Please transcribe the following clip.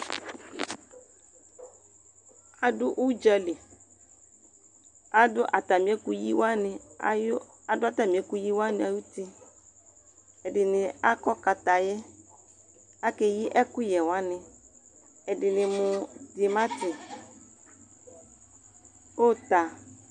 Adʋ udzali, adʋ atamiekʋyi waniayʋ, aduʋ atamiekʋyi wani ay'uti Ɛdini akɔ kataye, akeyi akʋyɛ wani, ɛdini mʋ dimati, uta